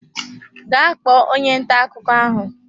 Gaa kpọọ onye ntà akụkọ ahụ!